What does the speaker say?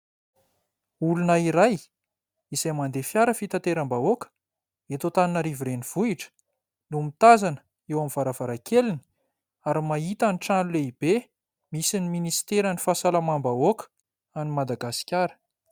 olona iray izay mandeha fiara fitateram-bahoaka eto Antananarivo renivohitra no mitazana eo amin'ny varavarakeliny ary mahita ny trano lehibe misy ny ministera ny fahasalamam-bahoaka any madagaskara